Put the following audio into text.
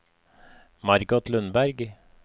Margot Lundberg